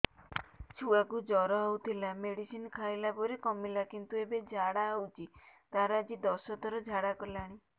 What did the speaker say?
ଛୁଆ କୁ ଜର ହଉଥିଲା ମେଡିସିନ ଖାଇଲା ପରେ କମିଲା କିନ୍ତୁ ଏବେ ଝାଡା ହଉଚି ତାର ଆଜି ଦଶ ଥର ଝାଡା କଲାଣି